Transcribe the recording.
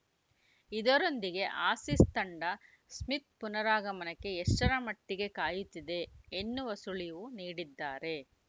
ಇದರೊಂದಿಗೆ ಆಸೀಸ್‌ ತಂಡ ಸ್ಮಿತ್‌ ಪುನರಾಗಮನಕ್ಕೆ ಎಷ್ಟರ ಮಟ್ಟಿಗೆ ಕಾಯುತ್ತಿದೆ ಎನ್ನುವ ಸುಳಿವು ನೀಡಿದ್ದಾರೆ